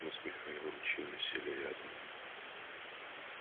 мы с михаилом чинно сели рядом